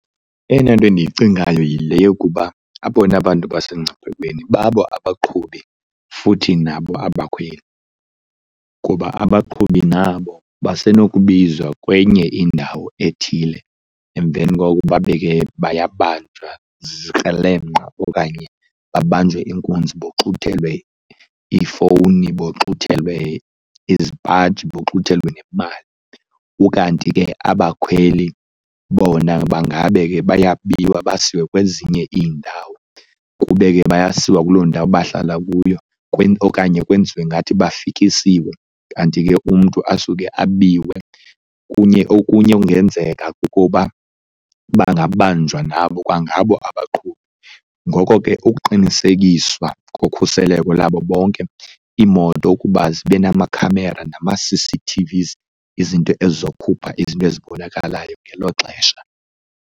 Eyona nto endiyicingayo yile yokuba abona bantu basemngciphekweni babo abaqhubi futhi nabo abakhweli kuba abaqhubi nabo basenokubiwa kwenye indawo ethile emveni koko babe ke bayabanjwa zikrelemqa okanye babanjwe inkunzi boxuthelwe iifowuni, boxuthelwe iizipaji, boxuthelwe nemali. Ukanti ke abakhweli bona bangabe ke bayabiwa basiwe kwezinye iindawo, kube ke bayasiwa kuloo ndawo bahlala kuyo okanye kwenziwe ngathi bafikisiwe kanti ke umntu asuke abiwe. Kunye okunye okungenzeka kukuba bangabanjwa nabo kwangabo abaqhubi ngoko ke ukuqinisekiswa kokhuseleko lwabo bonke, iimoto ukuba zibe namakhamera nama-C_C_T_Vs, izinto ezizokhupha izinto ezibonakalayo ngelo xesha.